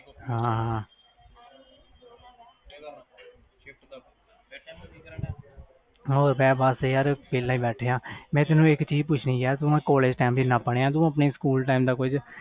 ਹਾਂ ਯਾਰ ਵੇਹਲੇ time pass ਯਾਰ ਮੈਂ ਤੈਨੂੰ ਪੁੱਛਣ ਸੀ ਆਪਾ ਕਾਲਜ ਇਕੱਠੇ ਪੜ੍ਹੇ ਆ ਤੂੰ ਆਪਣੇ ਸਕੂਲ